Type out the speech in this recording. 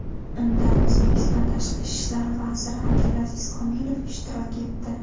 Unda O‘zbekiston tashqi ishlar vaziri Abdulaziz Komilov ishtirok etdi.